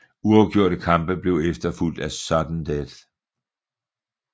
Uafgjorte kampe blev efterfulgt af sudden death